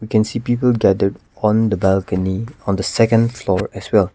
can see people gathered on the balcony on the second floor as well.